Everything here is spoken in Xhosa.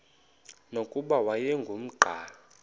nokuba wayengu nqal